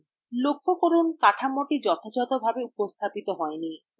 লক্ষ্য করুন যে কাঠামোটি যথাযথভাবে উপস্থাপিত হয়নি